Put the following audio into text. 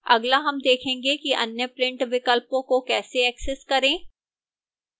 अगला हम देखेंगे कि अन्य print विकल्पों को कैसे access करें